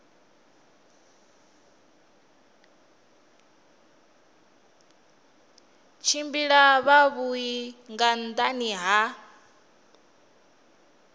tshimbila zwavhui nga nhani ha